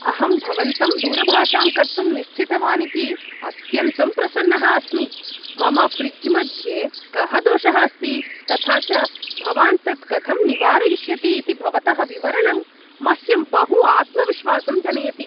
अहं भवन्तं दूरभाषां कर्तुं निश्चितवान् इति अत्यन्तं प्रसन्नः अस्मि, मम फ्रिज् मध्ये कः दोषः अस्ति, तथा च भवान् तत् कथं निवारयिष्यति इति भवतः विवरणं मह्यं बहु आत्मविश्वासं जनयति।